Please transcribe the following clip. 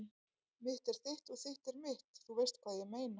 Mitt er þitt og þitt er mitt- þú veist hvað ég meina.